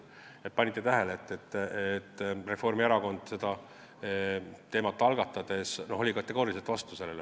Te võib-olla panite tähele, et Reformierakond või, ütleme, Jürgen Ligi oli sellele kategooriliselt vastu.